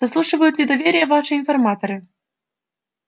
заслуживают ли доверия ваши информаторы